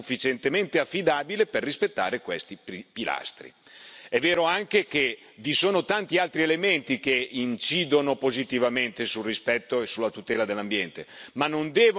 È vero anche che vi sono tanti altri elementi che incidono positivamente sul rispetto e sulla tutela dell'ambiente, ma non devono andare ad aggiungersi a questo criterio della distanza, che è più che sufficiente.